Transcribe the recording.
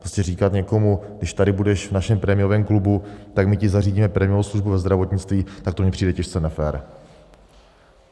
Prostě říkat někomu když tady budeš v našem prémiovém klubu, tak my ti zařídíme prémiovou službu ve zdravotnictví, tak to mi přijde těžce nefér.